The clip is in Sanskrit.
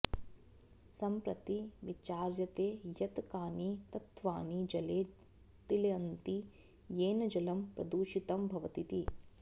सम्प्रति विचार्यते यत् कानि तत्वानि जले तिलन्ति येन जलं प्रदूषितं भवतीति